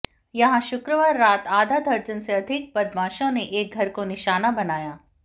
यहां शुक्रवार रात आधा दर्जन से अधिक बदमाशों ने एक घर को निशाना बनाया